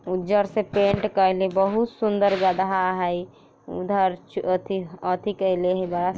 उज्जर से पेंट कयले बहुत सुंदर गधा हइ उधर च ओथी-ओथी कयले हे बा --